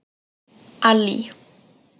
Allý